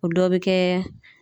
O dɔ bɛ kɛ